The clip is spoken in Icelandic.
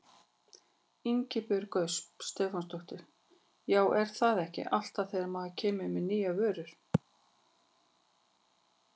Ingibjörg Ösp Stefánsdóttir: Já er það ekki alltaf þegar maður kemur með nýja vöru?